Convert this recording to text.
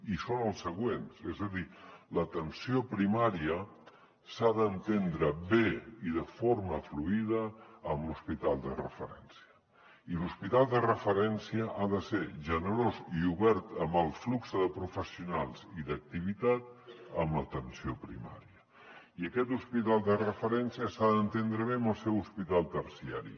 i són els següents és a dir l’atenció primària s’ha d’entendre bé i de forma fluida amb l’hospital de referència i l’hospital de referència ha de ser generós i obert amb el flux de professionals i d’activitat amb l’atenció primària i aquest hospital de referència s’ha d’entendre bé amb el seu hospital terciari